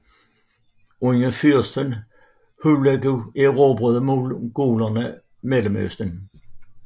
Under fyrsten Hulagu erobrede mongolerne Mellemøsten